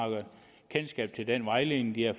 kendskab til den vejledning de har